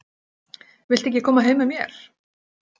Viltu ekki koma heim með mér?